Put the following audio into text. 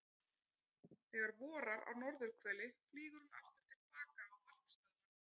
Þegar vorar á norðurhveli flýgur hún aftur til baka á varpstöðvarnar.